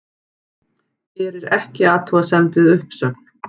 Gerir ekki athugasemd við uppsögn